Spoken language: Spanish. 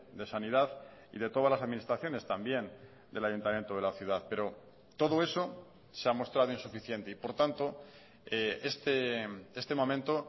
de sanidad y de todas las administraciones también del ayuntamiento de la ciudad pero todo eso se ha mostrado insuficiente y por tanto este momento